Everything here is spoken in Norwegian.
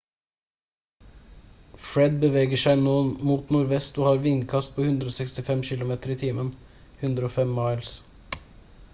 fred beveger seg nå mot nordvest og har vindkast på 165 kilometer i timen 105 miles